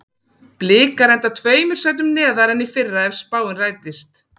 Blikar enda tveimur sætum neðar en í fyrra ef spáin rætist.